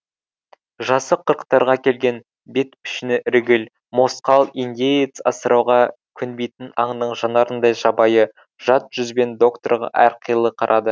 жасы қырықтарға келген бет пішіні іргіл мосқал индеец асырауға көнбейтін аңның жанарындай жабайы жат жүзбен докторға әрқилы қарады